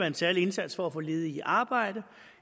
en særlig indsats for at få ledige i arbejde